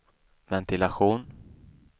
ventilation